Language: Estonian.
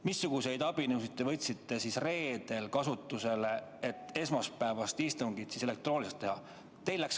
Missuguseid abinõusid te võtsite reedel kasutusele, et esmaspäevast istungit elektrooniliselt teha?